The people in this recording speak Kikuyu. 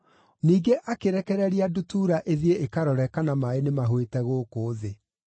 Ningĩ akĩrekereria ndutura ĩthiĩ ĩkarore kana maaĩ nĩmahũĩte gũkũ thĩ.